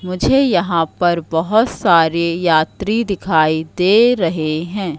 मुझे यहां पर बहोत सारे यात्री दिखाई दे रहे हैं।